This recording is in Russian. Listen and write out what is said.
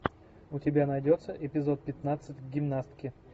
у тебя найдется эпизод пятнадцать гимнастки